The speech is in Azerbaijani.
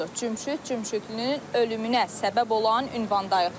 Cümşüd Cümşüdlünün ölümünə səbəb olan ünvandayıq.